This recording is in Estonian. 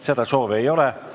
Seda soovi ei ole.